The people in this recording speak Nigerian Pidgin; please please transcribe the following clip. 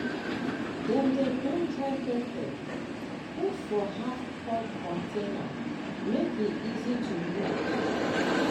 dem dey grind dry pepper put for half cup container make e easy to use.